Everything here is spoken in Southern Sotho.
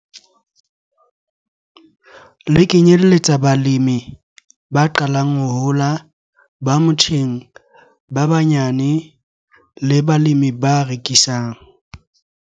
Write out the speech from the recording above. Le kenyelletsa balemi ba qalang ho hola, ba motjheng, ba banyane le balemi ba rekisang.